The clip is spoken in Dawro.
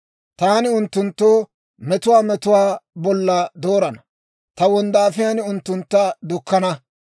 «Taani unttunttoo metuwaa metuwaa bolla doorana; ta wonddaafiyaan unttuntta dukkana.